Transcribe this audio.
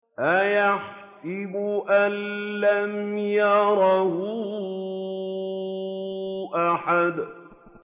أَيَحْسَبُ أَن لَّمْ يَرَهُ أَحَدٌ